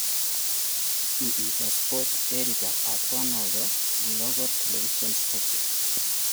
He is a sports editor at one of the local television stations.